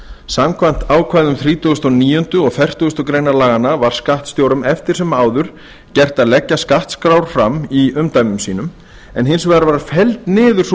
samkvæmt ákvæðum þrítugasta og níunda og fertugasta grein laganna var skattstjórum eftir sem áður gert að leggja skattskrár fram í umdæmum sínum en hins vegar var felld niður sú